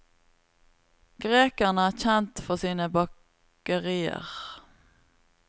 Grekerne er kjent for sine bakerier.